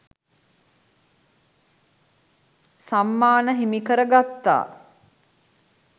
සම්මාන හිමිකරගත්තා